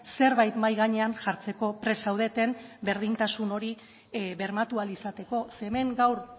zerbait mahai gainean jartzeko prest zaudeten berdintasun hori bermatu ahal izateko ze hemen gaur